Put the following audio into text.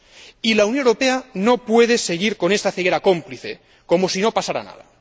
Y la Unión Europea no puede seguir con esta ceguera cómplice, como si no pasara nada.